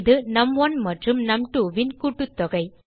இது நும்1 மற்றும் num2ன் கூட்டுத்தொகை